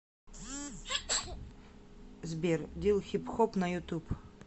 сбер дил хип хоп на ютуб